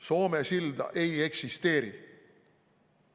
Soome silda ei eksisteeri.